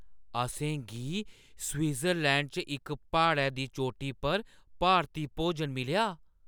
असें गी स्विट्जरलैंड च इक प्हाड़ै दी चोटी पर भारती भोजन मिलेआ।